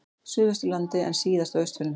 Suðvesturlandi en síðast á Austfjörðum.